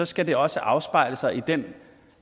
skal det også afspejle sig i den